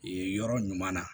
Yen yɔrɔ ɲuman na